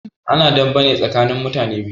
Ana dame ne tsakanin mutane biyu